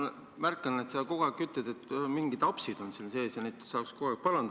Ma märkan, et sa kogu aeg ütled, et mingid apsud on siin sees ja neid saaks kohe parandada.